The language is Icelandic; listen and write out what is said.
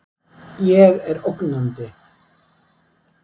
Ég er ógnandi.